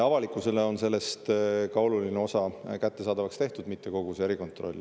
Avalikkusele on sellest ka oluline osa kättesaadavaks tehtud, mitte küll kogu see erikontroll.